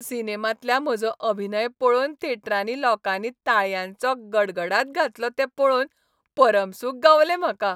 सिनेमांतल्या म्हजो अभिनय पळोवन थेटरांत लोकांनी ताळयांचो गडगड घातलो तें पळोवन परमसूख गावलें म्हाका.